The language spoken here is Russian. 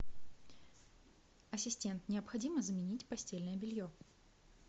ассистент необходимо заменить постельное белье